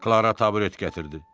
Klara taburet gətirdi.